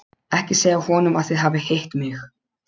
Ekki segja honum að þið hafið hitt mig.